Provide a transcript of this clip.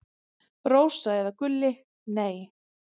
Rósa eða Gulli: Nei.